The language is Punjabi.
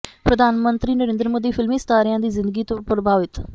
ਪ੍ਰਧਾਨ ਮੰਤਰੀ ਨਰਿੰਦਰ ਮੋਦੀ ਫ਼ਿਲਮੀ ਸਿਤਾਰਿਆਂ ਦੀ ਜ਼ਿੰਦਗੀ ਤੋਂ ਪ੍ਰਭਾਵਿਤ